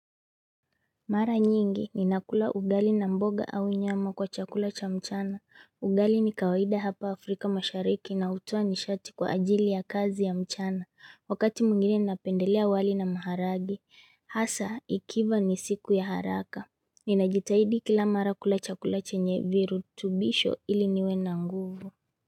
Mara nyingi ni nakula ugali na mboga au nyama kwa chakula cha mchana, ugali ni kawaida hapa Afrika mashariki na utuwa nishati kwa ajili ya kazi ya mchana, wakati mwigine ni napendelea wali na maharage hasa ikiva ni siku ya haraka Ninajitahidi kila mara kula chakula cha nye virutubisho ili niwena nguvu.